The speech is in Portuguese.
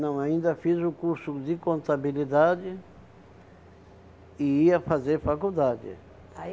Não, ainda fiz o curso de contabilidade e ia fazer faculdade.